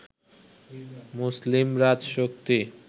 মুসলিম রাজশক্তি